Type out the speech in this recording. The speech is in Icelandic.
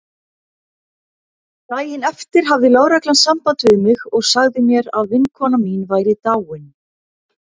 Daginn eftir hafði lögreglan samband við mig og sagði mér að vinkona mín væri dáin.